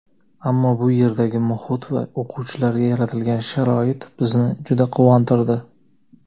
Ammo bu yerdagi muhit va o‘quvchilarga yaratilgan sharoit bizni juda quvontirdi.